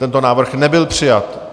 Tento návrh nebyl přijat.